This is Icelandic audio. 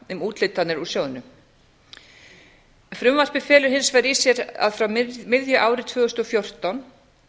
um úthlutanir úr sjóðnum frumvarpið felur hins vegar í sér að frá miðju ári tvö þúsund og fjórtán